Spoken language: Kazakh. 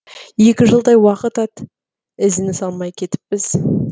екі жылдай уақыт ат ізін салмай кетіппіз